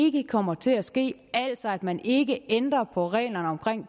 ikke kommer til at ske altså at man ikke ændrer på reglerne